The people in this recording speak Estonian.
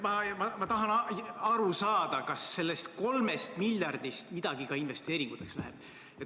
Ma tahan aru saada, kas sellest 3 miljardist midagi ka investeeringuteks läheb.